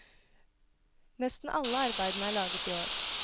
Nesten alle arbeidene er laget i år.